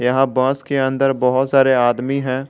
यहां बस के अंदर बहोत सारे आदमी है।